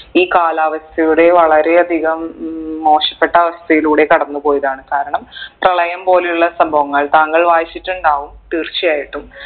ഈ കാലാവസ്ഥയുടെ വളരെ അധികം ഉം മോശപ്പെട്ട അവസ്ഥയിലൂടെ കടന്ന് പോയതാണ് കാരണം പ്രളയം പോലെ ഉള്ള സംഭവങ്ങൾ താങ്കൾ വായിച്ചിട്ട് ഉണ്ടാകും തീർച്ചയായിട്ടും